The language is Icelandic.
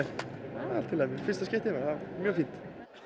maður fyrsta skipti bara mjög fínt